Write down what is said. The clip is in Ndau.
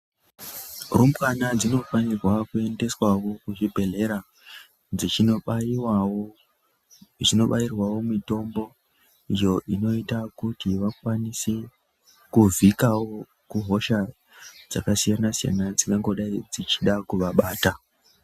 Rumbwana dzinofanirwa kuendeswao kuzvibhedhlera dzichinobairwao mitombo iyo inoita kuti vakwanise kuvhika hosha dzakasiyana siyana dzingangodei dzichida kuvabata.